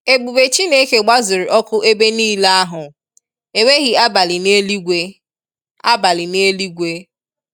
Ebube Chineke gbazuru ọkụ ebe nile ahụ. Enweghị abalị n'eluigwe. abalị n'eluigwe.